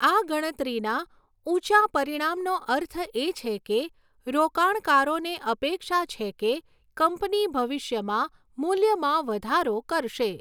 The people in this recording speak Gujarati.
આ ગણતરીના ઊંચા પરિણામનો અર્થ એ છે કે રોકાણકારોને અપેક્ષા છે કે કંપની ભવિષ્યમાં મૂલ્યમાં વધારો કરશે.